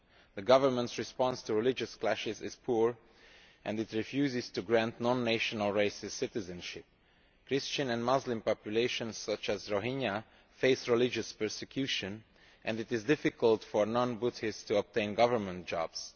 The government's response to religious clashes is poor and it refuses to grant non-national races citizenship. Christian and Muslim populations such as the Rohingya face religious persecution, and it is difficult for non-Buddhists to obtain government jobs.